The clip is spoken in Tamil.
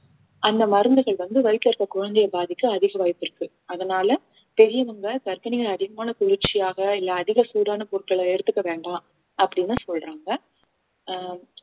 அந்த மருந்துகள் வந்து வயித்துல இருக்க குழந்தையை பாதிக்க அதிக வாய்ப்பு இருக்கு அதனால பெரியவங்க கர்ப்பிணிகள் அதிகமான குளிர்ச்சியாக இல்ல அதிக சூடான பொருட்களை எடுத்துக்க வேண்டாம் அப்படின்னு சொல்றாங்க ஆஹ்